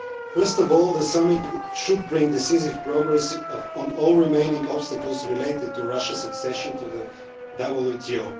First of all, the summit should bring decisive progress on all the remaining obstacles related to Russia's accession to the WTO.